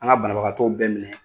An ŋa banabagatɔw bɛɛ minɛ